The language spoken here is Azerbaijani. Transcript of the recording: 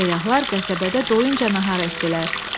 Səyyahlar qəsəbədə doyunca nahar etdilər.